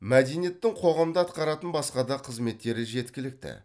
мәдениеттің қоғамда атқаратын басқа да қызметтері жеткілікті